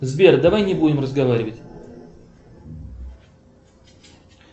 сбер давай не будем разговаривать